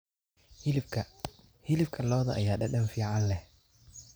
Hilibka hilibka lo'da ayaa dhadhan fiican leh.